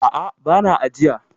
A'a, ba na ajiya.